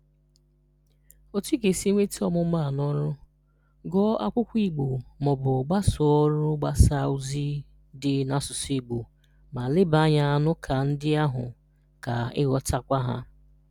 Otu i ga-esi weta ọmụmụ a n’ọrụ: Gụọ akwụkwọ Igbo ma ọ bụ gbasoo ọrụ mgbasa ozi dị n’asụsụ Igbo ma leba anya n’ụka ndị ahụ ka ị ghọtaakwa ha.